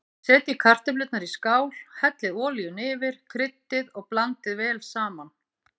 Setjið kartöflurnar í skál, hellið olíunni yfir, kryddið og blandið vel saman.